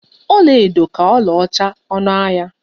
Ọlaedo ka ọlaọcha ọnụ ahịa.